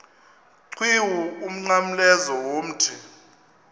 qhiwu umnqamlezo womthi